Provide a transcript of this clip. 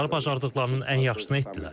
Onlar bacardıqlarının ən yaxşısını etdilər.